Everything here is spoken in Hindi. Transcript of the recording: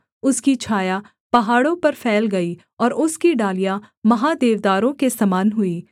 उसकी छाया पहाड़ों पर फैल गई और उसकी डालियाँ महा देवदारों के समान हुई